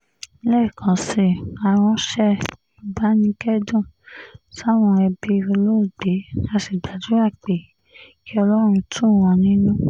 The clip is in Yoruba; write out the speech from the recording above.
lẹ́ẹ̀kan sí i á ránṣẹ́ ìbánikẹ́dùn sáwọn ẹbí olóògbé á sì gbàdúrà pé kí ọlọ́run tù wọ́n nínú